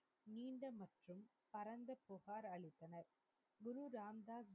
Guru Ram Das,